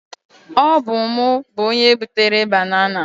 ọ bu mu, onye butere banana.